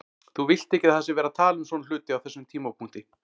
Þú vilt ekki að það sé verið að tala um svona hluti á þessum tímapunkti.